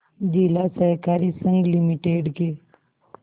जिला सहकारी संघ लिमिटेड के